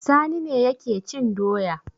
Sani ne yake cin doya.